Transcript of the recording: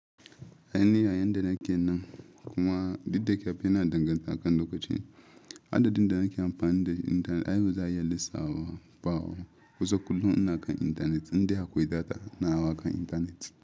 A yi niyya yadda na ƙi nan, kuma duk da kyawun yana danganta akan lokaci, adadin nake amfani da Intanet ai baza a iya lissafawa bawo kusa kullum na kan Intanet, inda akwai data ina hawa kan Intanet.